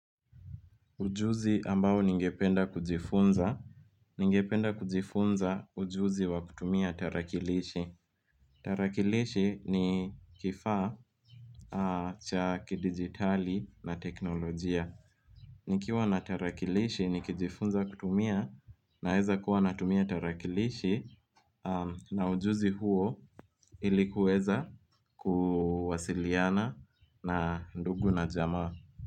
Ujuzi ambao ningependa kujifunza. Ningependa kujifunza ujuzi wa kutumia tarakilishi tarakilishi ni kifaa cha kidigitali na teknolojia nikiwa na tarakilishi ni kijifunza kutumia na weza kuwa natumia tarakilishi na ujuzi huo ilikuweza kuwasiliana na ndugu na jamaa.